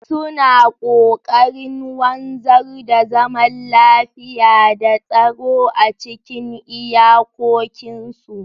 Suna kokarin wanzar da zaman lafiya da tsaro a cikin iyakokinsu.